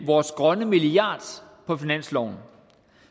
vores grønne milliard på finansloven